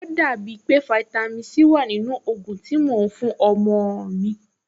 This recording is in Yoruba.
Ò dàbí pé fáítámì Sí wà nínú ògùn tí mo fún ọmọ-ọ̀n mi